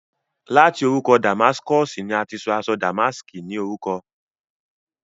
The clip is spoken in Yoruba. láti orúkọ Damáskọ̀sì ni a ti sọ aṣọ dàmáàskí ní orúkọ.